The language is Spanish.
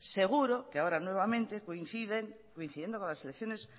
seguro que ahora nuevamente coincidiendo con las elecciones